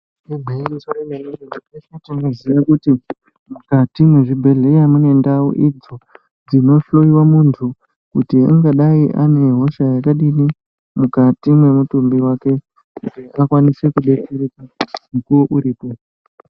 Igwinyiso remene mene teshe tinoziya kuti mukati mwezvibhedhleya mune ndau idzo dzinohloiva muntu. Kuti ungadai ane hosha yakadini mukati mwemutumbi vake kuti akwanise kubetsereka mukuvo uripo.